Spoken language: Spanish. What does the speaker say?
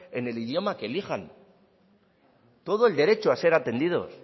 en el idioma que elijan todo el derecho a ser atendidos